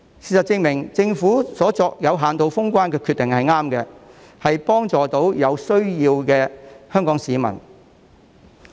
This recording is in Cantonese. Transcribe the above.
事實證明，政府有限度封關的決定是正確的，可以幫助到有需要的香港市民。